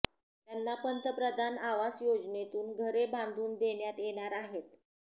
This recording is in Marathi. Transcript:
त्यांना पंतप्रधान आवास योजनेतून घरे बांधून देण्यात येणार आहेत